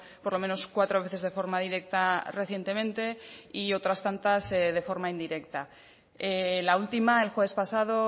por lo menos cuatro veces de forma directa recientemente y otras tantas de forma indirecta la última el jueves pasado